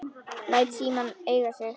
Læt símann eiga sig.